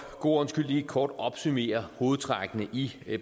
god ordens skyld lige kort opsummere hovedtrækkene i